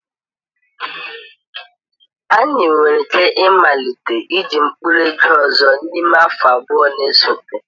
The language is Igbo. Anyị nwere ike ịmalite iji mkpụrụ ego ọzọ n'ime afọ abụọ na-esote.